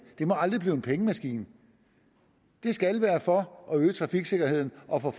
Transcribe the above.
det må aldrig blive en pengemaskine det skal være for at øge trafiksikkerheden og for at